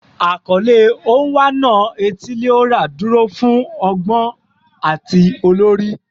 Akọle "Onwa-na-etili-ora" duro fun ọgbọn ati olori